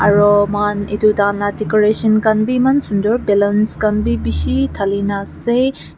aro moikan eto taikan laga decoration kanbe eman sundoor balloons kanbe eman beshi talina ase.